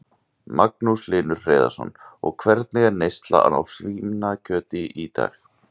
Magnús Hlynur Hreiðarsson: Og hvernig er neyslan á svínakjöti í dag?